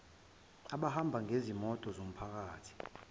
abahamba ngezimoto zomphakathi